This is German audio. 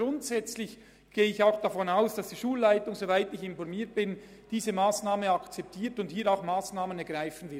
Grundsätzlich gehe ich davon aus, dass die Schulleitung diese Massnahme akzeptiert und ebenfalls Massnahmen ergreifen wird.